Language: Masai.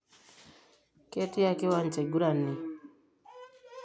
Ketiaaa kiwancha eigurani?